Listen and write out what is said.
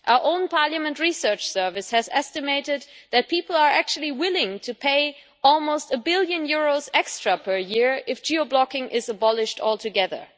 Our own Parliament Research Service has estimated that people are actually willing to pay almost a billion euros extra per year if geo blocking is abolished altogether.